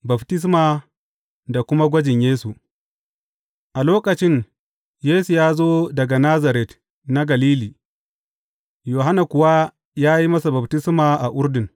Baftisma da kuma gwajin Yesu A lokacin, Yesu ya zo daga Nazaret na Galili, Yohanna kuwa ya yi masa baftisma a Urdun.